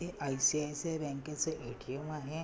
हे आई.सी.आई.सी.आई. बँकेच ए.टी.एम. आहे.